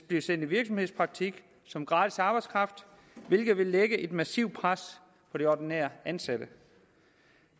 blive sendt i virksomhedspraktik som gratis arbejdskraft hvilket vil lægge et massivt pres på de ordinære ansatte